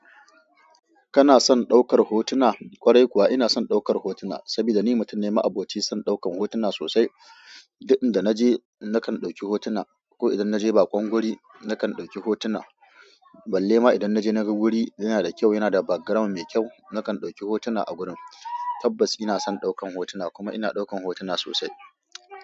Kana son ɗaukar hotuna? Kwarai kuwa ina son ɗaukar hotuna, saboda ni mutum ne ma'aboci san ɗaukan hotuna sosai. Duk inda na je na kan ɗauki hotuna, ko idan na je bakon guri na kan ɗauki hotuna. Balle ma idan na je na ga guri yana da kyau, yana da background mai kyau, na kan ɗauki hotuna a gurin. Tabbas ina son ɗaukan hotuna kuma ina ɗaukan hotuna sosai.